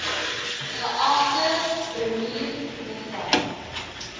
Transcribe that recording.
geagte premier mev